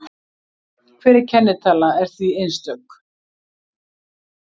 hver kennitala er því einstök